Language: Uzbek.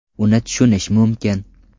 Uni tushunish mumkin.